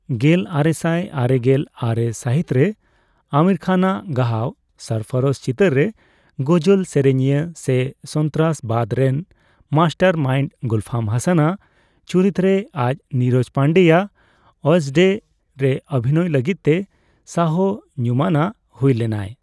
ᱜᱮᱞᱟᱨᱮᱥᱟᱭ ᱟᱨᱮᱜᱮᱞ ᱟᱨᱮ ᱥᱟᱹᱦᱤᱛ ᱨᱮ ᱟᱢᱤᱨ ᱠᱷᱟᱱᱟᱜ ᱜᱟᱦᱟᱣ 'ᱥᱚᱨᱯᱷᱨᱳᱥ' ᱪᱤᱛᱟᱹᱨ ᱨᱮ ᱜᱚᱡᱚᱞ ᱥᱮᱨᱮᱧᱤᱭᱟᱹ ᱥᱮ ᱥᱚᱱᱛᱟᱨᱟᱥᱵᱟᱫᱽ ᱨᱮᱱ ᱢᱟᱥᱴᱟᱨ ᱢᱟᱭᱤᱱᱰ ᱜᱩᱞᱯᱷᱟᱢ ᱦᱟᱥᱟᱱᱟᱜ ᱪᱩᱨᱤᱛ ᱨᱮ ᱟᱨ ᱱᱤᱨᱚᱡᱽ ᱯᱟᱱᱰᱮᱭᱟᱜ ᱳᱭᱮᱹᱰᱥᱰᱮᱹ ᱨᱮ ᱚᱵᱷᱤᱱᱚᱭ ᱞᱟᱹᱜᱤᱫᱛᱮ ᱥᱟᱦ ᱧᱩᱢᱟᱱᱟᱜ ᱦᱩᱭ ᱞᱮᱱᱟᱭ ᱾